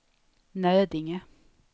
Nödinge